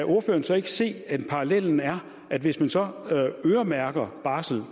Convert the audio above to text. se at parallellen er at hvis man øremærker barsel